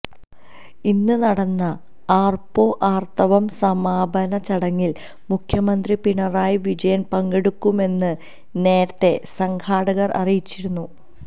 ഇന്ന് നടന്ന ആര്പ്പോ ആര്ത്തവം സമാപന ചടങ്ങില് മുഖ്യമന്ത്രി പിണറായി വിജയന് പങ്കെടുക്കുമെന്ന് നേരത്തെ സംഘാടകര് അറിയിച്ചിരുന്നു